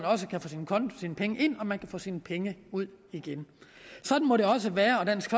kan få sine penge ind og man kan få sine penge ud igen sådan må det også være og dansk